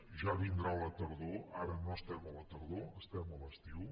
ja vindrà la tardor ara no estem a la tardor estem a l’estiu